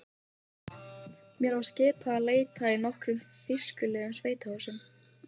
Ég mun eftirleiðis kappkosta að ávarpa hann með þessum titli.